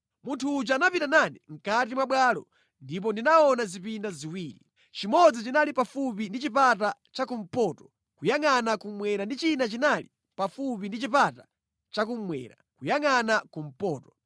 Munthu uja anapita nane mʼkati mwa bwalo ndipo ndinaona zipinda ziwiri. Chimodzi chinali pafupi ndi chipata chakumpoto kuyangʼana kummwera ndi china chinali pafupi ndi chipata chakummwera kuyangʼana kumpoto.